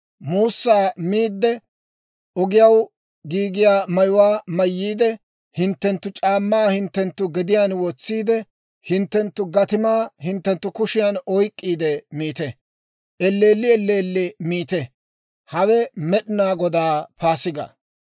Muussaa miidde, ogiyaw giigiyaa mayuwaa mayyiide, hinttenttu c'aammaa hinttenttu gediyaan wotsiide, hinttenttu gatimaa hinttenttu kushiyaan oyk'k'iide miita. Elleelli elleelli miite; hawe Med'inaa Godaa Paasigaa.